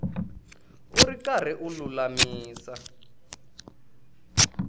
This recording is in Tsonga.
u ri karhi u lulamisa